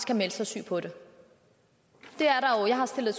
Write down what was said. kan melde sig syg på det jeg har stillet